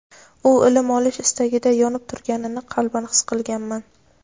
u ilm olish istagida yonib turganini qalban his qilganman.